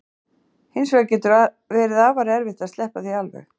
Hins vegar getur verið afar erfitt að sleppa því alveg.